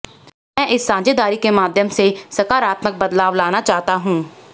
मैं इस साझेदारी के माध्यम से सकारात्मक बदलाव लाना चाहता हूं